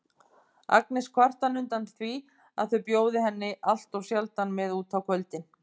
Agnes kvartar undan því að þau bjóði henni alltof sjaldan með út á kvöldin.